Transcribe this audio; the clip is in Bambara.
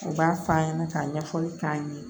U b'a f'a ɲɛna k'a ɲɛfɔli k'a ɲɛ